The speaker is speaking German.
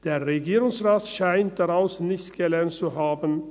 Der Regierungsrat scheint daraus nichts gelernt zu haben.